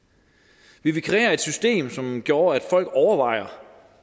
ville vi kreere et system som gjorde at folk ville overveje